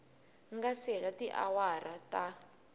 nga si hela tiawara ta